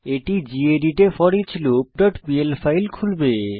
এটি গেদিত এ foreachloopপিএল ফাইল খুলবে